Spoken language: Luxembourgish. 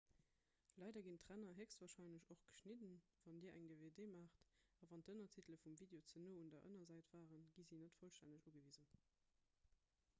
leider ginn d'ränner héchstwarscheinlech och geschnidden wann dir eng dvd maacht a wann d'ënnertitele vum video ze no un der ënnersäit waren gi se net vollstänneg ugewisen